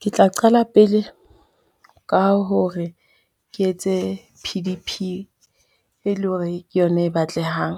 Ke tla qala pele ka hore ke etse P_D_P e le hore ke yona e batlehang.